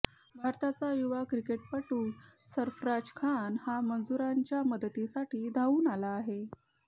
भारताचा युवा क्रिकेटपटू सर्फराज खान हा मजुरांच्या मदतीसाठी धावून आला आहे